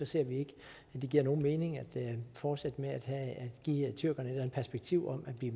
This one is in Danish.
ser vi ikke at det giver nogen mening at fortsætte med at give tyrkerne et perspektiv om at de